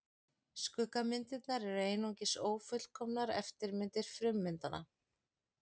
Skuggamyndirnar eru einungis ófullkomnar eftirmyndir frummyndanna.